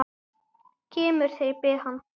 Kemur þegar ég bið hann.